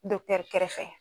kɛrɛfɛ.